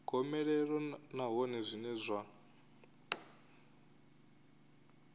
gomelelo nahone zwine zwa ḓo